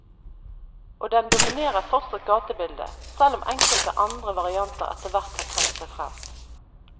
Og den dominerer fortsatt gatebildet, selv om enkelte andre varianter etterhvert har trengt seg frem.